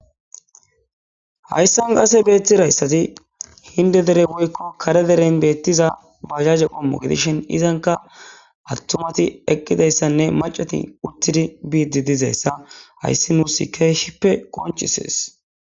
Hayssani qasse bettizayssi hindee deren woykko kare deren bettiza bajajje gidishin iza giddon kaseka cimmati uttidayssanne macc'ati eqidi dizayssa hayssani nusi qoncise'es.